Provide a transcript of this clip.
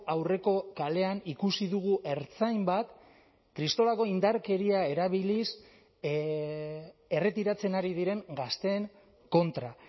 aurreko kalean ikusi dugu ertzain bat kristolako indarkeria erabiliz erretiratzen ari diren gazteen kontra